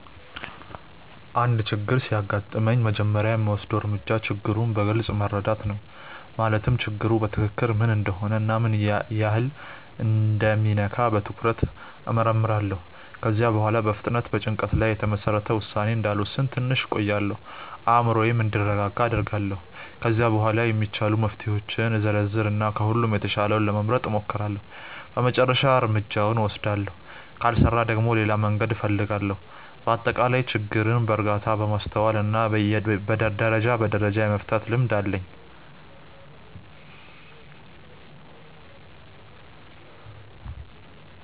አንድ ችግር ሲያጋጥመኝ መጀመሪያ የምወስደው እርምጃ ችግሩን በግልጽ መረዳት ነው። ማለትም ችግሩ በትክክል ምን እንደሆነ እና ምን ያህል እንደሚነካ በትኩረት እመርምራለሁ። ከዚያ በኋላ በፍጥነት በጭንቀት ላይ የተመሰረተ ውሳኔ እንዳልወስን ትንሽ እቆያለሁ፤ አእምሮዬም እንዲረጋጋ አደርጋለሁ። ከዚያ በኋላ የሚቻሉ መፍትሄዎችን እዘረዝር እና ከሁሉም የተሻለውን ለመምረጥ እሞክራለሁ በመጨረሻም እርምጃውን እወስዳለሁ። ካልሰራ ደግሞ ሌላ መንገድ እፈልጋለሁ። በአጠቃላይ ችግርን በእርጋታ፣ በማስተዋል እና ደረጃ በደረጃ የመፍታት ልምድ አለኝ።